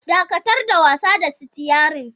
Dakatar da wasa da sitiyarin!